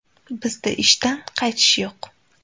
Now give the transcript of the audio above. Bizda ishdan qaytish yo‘q.